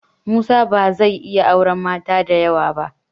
Musa ba zai iya auren mata da yawa ba.